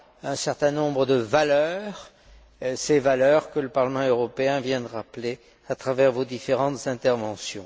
un certain nombre de valeurs, ces valeurs que le Parlement européen vient de rappeler à travers vos différentes interventions.